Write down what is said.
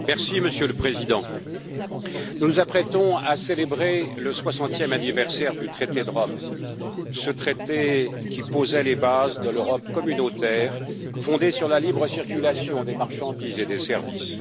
Monsieur le Président, nous nous apprêtons à célébrer le soixantième anniversaire du traité de Rome, ce traité qui posait les bases de l'Europe communautaire fondée sur la libre circulation des marchandises et des services.